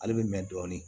Ale bɛ mɛn dɔɔnin